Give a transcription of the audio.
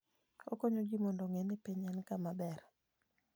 Okonyo ji mondo ong'e ni piny en kama ber.